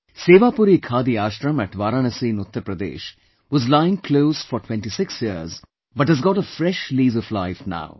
Sewapuri Khadi Ashram at Varanasi in Uttar Pradesh was lying closed for 26 years but has got a fresh lease of life now